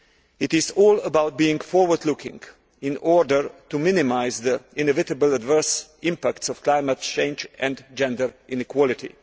It is all about being forward looking in order to minimise the inevitable adverse impacts of climate change and gender inequality.